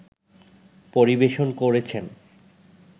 পরিবেশন করেছেন